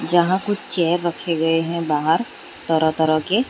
जहां कुछ चेयर रखे गए है बाहर तरह तरह के।